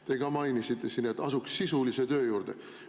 Te ka mainisite siin, et asuks sisulise töö juurde.